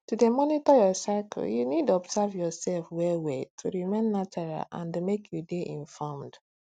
to dey monitor your cycle you need observe yourself well well to remain natural and make you dey informed